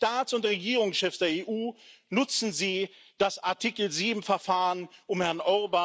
Und an die Staats und Regierungschefs der EU Nutzen Sie das Artikel 7 Verfahren, um Herrn